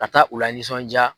Ka taa u la nisɔnjaa.